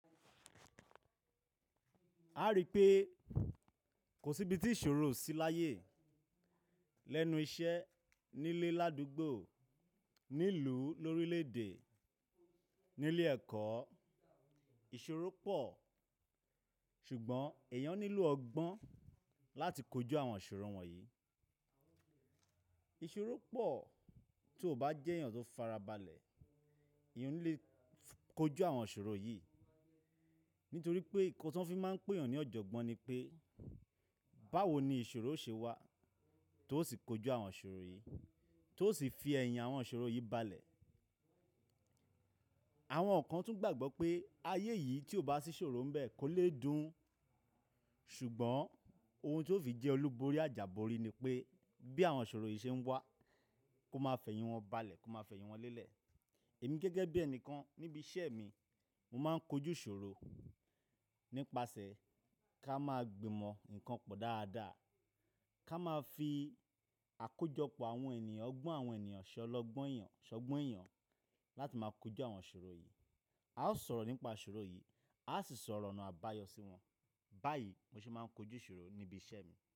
A rí i pé kò sí ibi tí ìṣòro ò sí láyé. Lẹ́nu iṣẹ́, nílé ládúgbò, nílùú, lórílẹ̀-èdè, nílé ẹ̀kọ́, ìṣòro pọ̀. Ṣùgbọ́n èèyàn nílò ọgbọ́n láti kojú àwọn ìṣòro wọ̀nyí. Ìṣòro pọ̀ tí o bá jẹ́ èèyàn tó farabalẹ̀, ìyẹn o le kojú àwọn ìṣòro yìí nítorí pé nǹkan tí wọ́n fi máa ń pè èèyàn ní ọ̀jọ̀gbọ́n ni pé, báwo ni ìṣòro ṣe wà tó sì kojú àwọn ìṣòro yìí, tó sì fi ẹ̀yìn àwọn ìṣòro yìí balẹ̀. Àwọn kan tún gbàgbọ́ pé ayé yìí tí ò bá sí ìṣòro níbẹ̀ kò lé dùn. Ṣùgbọ́n ohun tí ó fi jẹ́ olúborí àjàborí ni pé bí àwọn ìṣòro yìí ṣe ń wá, kó máa fẹ̀yìn wọn balẹ̀, kó máa fẹ̀yìn wọn lélẹ̀. Èmi gẹ́gẹ́ bí ẹni kan níbi iṣẹ́ mi, mo máa ń kojú ìṣòro nípasẹ̀ ká máa gbìmọ̀ ǹkan pọ̀ dáadáa, ká máa fi àkójọpọ̀ àwọn ènìyàn, ọgbọ́n àwọn ènìyàn, ìṣọ́lọgbọ́n èèyàn, ìṣọ́gbọ́n èèyàn láti máa kojú àwọn ìṣòro yìí. Ìṣòro pọ̀ tí o bá jẹ́ èèyàn tó farabalẹ̀, ìyẹn o le kojú àwọn ìṣòro yìí nítorí pé nǹkan tí wọ́n fi máa ń pè èèyàn ní ọ̀jọ̀gbọ́n ni pé, báwo ni ìṣòro ṣe wà tó sì kojú àwọn ìṣòro yìí, tó sì fi ẹ̀yìn àwọn ìṣòro yìí balẹ̀. Báyìí mo sì máa ń kojú ìṣòro níbi iṣẹ́ mi.